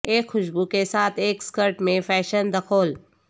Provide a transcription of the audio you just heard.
ایک خوشبو کے ساتھ ایک سکرٹ میں فیشن دخول